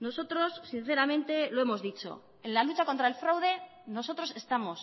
nosotros sinceramente lo hemos dicho en la lucha contra el fraude nosotros estamos